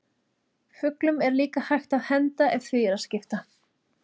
Fuglum er líka hægt að henda ef því er að skipta.